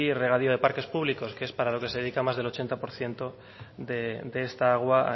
regadío de parques público que es para lo que se dedica más del ochenta por ciento de esta agua